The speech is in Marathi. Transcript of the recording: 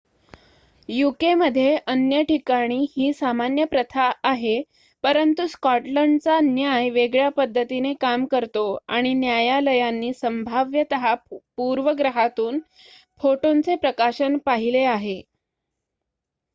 यूकेमध्ये अन्य ठिकाणी ही सामान्य प्रथा आहे परंतु स्कॉटलंडचा न्याय वेगळ्या पद्धतीने काम करतो आणि न्यायालयांनी संभाव्यतः पूर्वग्रहातून फोटोंचे प्रकाशन पाहिले आहे